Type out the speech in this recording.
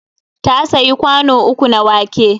Ta sayi kwano uku na wake.